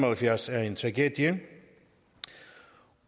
og halvfjerds været en tragedie